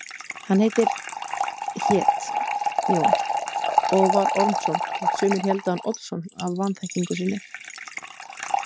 Hann heitir, hét, Jón og var Ormsson þótt sumir héldu hann Oddsson af vanþekkingu sinni.